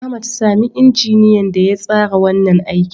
Ahmad, sami injiniyan da ya tsara wannan aikin.